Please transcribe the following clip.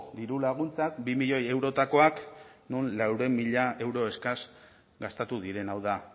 dirulaguntza bi milioi eurotakoak non laurehun mila euro eskas gastatu diren hau da